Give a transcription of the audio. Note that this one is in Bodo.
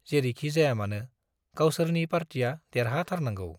जेरैखि जायामानो गावसोरनि पार्टिया देरहाथारनांगौ।